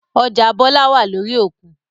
Ọjà Bọlá wá lórí òkun